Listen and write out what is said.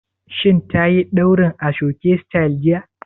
Shin tayi ɗaurin aso-oke sityl jiya?